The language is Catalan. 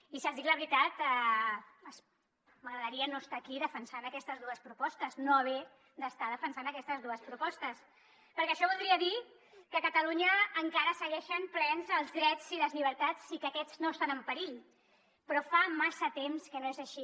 i si els dic la veritat m’agradaria no estar aquí defensant aquestes dues propostes no haver d’estar defensant aquestes dues propostes perquè això voldria dir que a catalunya encara segueixen plens els drets i les llibertats i que aquests no estan en perill però fa massa temps que no és així